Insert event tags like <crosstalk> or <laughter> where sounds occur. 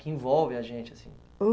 Que envolve a gente, assim. <unintelligible>